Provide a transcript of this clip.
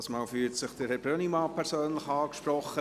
Diesmal fühlt sich Herr Brönnimann persönlich angesprochen.